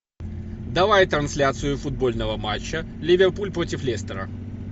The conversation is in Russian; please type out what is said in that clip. давай трансляцию футбольного матча ливерпуль против лестера